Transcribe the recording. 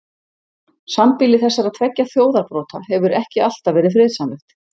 Sambýli þessara tveggja þjóðarbrota hefur ekki alltaf verið friðsamlegt.